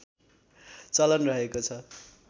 चलन रहेको छ